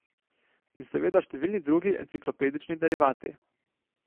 In seveda številni drugi enciklopedični derivati.